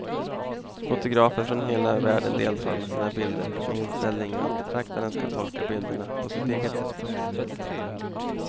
Fotografer från hela världen deltar med sina bilder med inställningen att betraktaren ska tolka bilderna på sitt eget sätt.